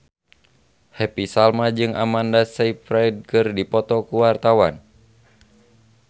Happy Salma jeung Amanda Sayfried keur dipoto ku wartawan